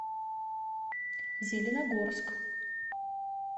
зеленогорск